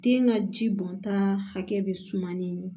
Den ka ji bɔnta hakɛ bɛ suma ni